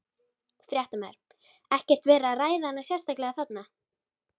Fréttamaður: Ekkert verið að ræða hana sérstaklega þarna?